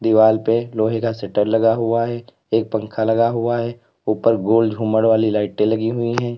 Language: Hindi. दीवाल पे लोहे का शट्टर लगा हुआ है एक पंखा लगा हुआ है ऊपर गोल झूमर वाली लाइटे लगी हुई हैं।